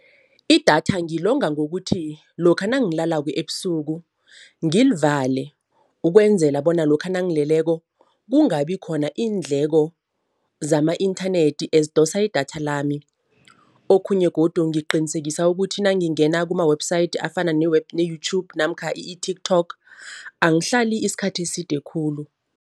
Idatha ngilonga ngokuthi lokha nangilalako ebusuku ngilivale, ukwenzela bona lokha nangileleko kungabi khona iindleko zama-inthanethi ezidosa idatha lami. Okhunye godu ngiqinisekisa ukuthi nangingena kuma-website afana ne-YouTube namkha i-TikTok angihlali isikhathi eside khulu.